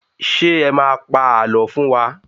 Ṣé ẹ má a pa àlọ́ fún wa?